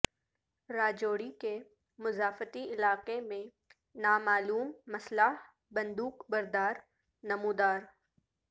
راجوری کے مضافاتی علاقہ میں نامعلوم مسلح بندو ق بردار نمودار